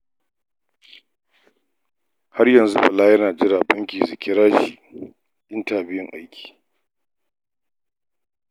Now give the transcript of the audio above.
Har yanzu Bala yana jira Bankin su kira shi intabiyun aiki